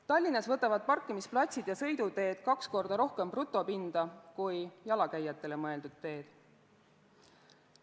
Tallinnas võtavad parkimisplatsid ja sõiduteed kaks korda rohkem brutopinda kui jalakäijatele mõeldud teed.